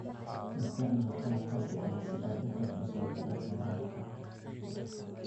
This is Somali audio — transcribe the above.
Isticmaal qalab casri ah si aad u kordhiso waxtarka waraabka.